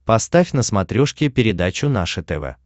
поставь на смотрешке передачу наше тв